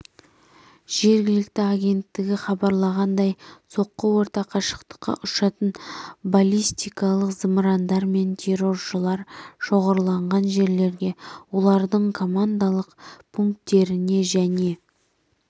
жергілікті агенттігі хабарлағандай соққы орта қашықтыққа ұшатын баллистикалық зымырандармен терроршылар шоғырланған жерлерге олардың командалық пунктеріне және